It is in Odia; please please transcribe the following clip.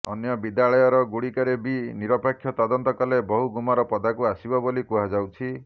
ଅନ୍ୟ ବିଦ୍ୟାଳୟ ଗୁଡ଼ିକରେ ବି ନିରପେକ୍ଷ ତଦନ୍ତ କଲେ ବହୁ ଗୁମର ପଦାକୁ ଆସିବ ବୋଲି କୁହାଯାଉଛି